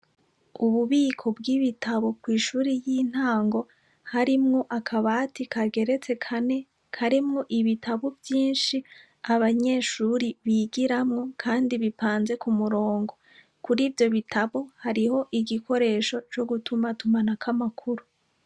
Ububiko bw'ibitabo kw'ishure ry'intango harimwo akabati kageretse kane, karimwo ibitabo vyinshi abanyeshure bigiramwo kandi bipanze ku murongo, Kuri ivyo bitabo hariho igikoresho co gutumatumanako amakuru.